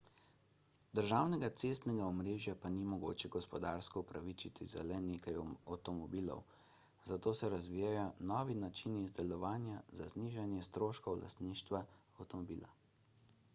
državnega cestnega omrežja pa ni mogoče gospodarsko upravičiti za le nekaj avtomobilov zato se razvijajo novi načini izdelovanja za znižanje stroškov lastništva avtomobila